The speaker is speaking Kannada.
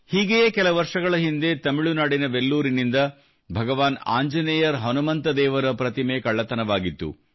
ಹೀಗೆಯೇ ಕೆಲ ವರ್ಷಗಳ ಹಿಂದೆ ತಮಿಳುನಾಡಿನ ವೆಲ್ಲೂರಿನಿಂದ ಭಗವಾನ್ ಆಂಜನೇಯರ್ ಹನುಮಂತ ದೇವರ ಪ್ರತಿಮೆ ಕಳ್ಳತನವಾಗಿತ್ತು